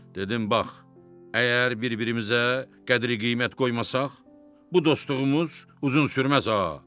Dedim bax, əgər bir-birimizə qədri-qiymət qoymasaq, bu dostluğumuz uzun sürməz, ağa.